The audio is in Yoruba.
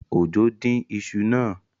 Ojo dín iṣu náà.